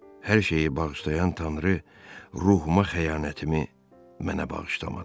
Hər şeyi bağışlayan tanrı ruhuma xəyanətimi mənə bağışlamadı.